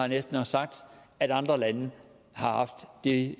næsten også sagt at andre lande har haft det